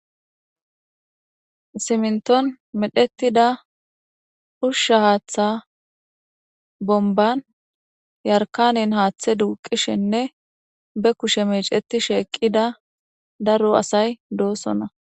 Simnton medhetida ushusha haaththa bomban yarkanen haaththe duuqishenne be kushe meeceti sheeqqida daro asay doosona.